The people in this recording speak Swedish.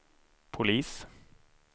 polis